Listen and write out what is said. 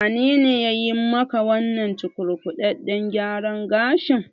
Wanene yayi maka wannan cukurkudaɗɗen gyaran gashin?